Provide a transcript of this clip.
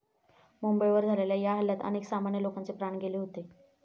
मुंबईवर झालेल्या या हल्ल्यात अनेक सामान्य लोकांचे प्राण गेले होते.